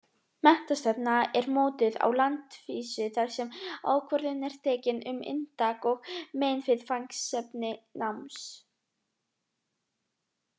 Menntastefna er mótuð á landsvísu þar sem ákvörðun er tekin um inntak og meginviðfangsefni náms.